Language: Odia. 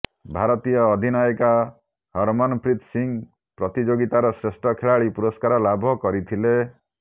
ଭାରତୀୟ ଅଧିନାୟିକା ହରମନପ୍ରୀତ ସିଂହ ପ୍ରତିଯୋଗିତାର ଶ୍ରେଷ୍ଠ ଖେଳାଳି ପୁରସ୍କାର ଲାଭ କରିଥିଲେ